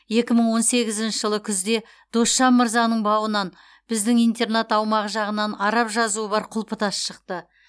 екі мың он сегізінші жылы күзде досжан мырзаның бауынан біздің интернат аумағы жағынан араб жазуы бар құлпытас шықты